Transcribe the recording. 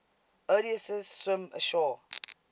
odysseus swims ashore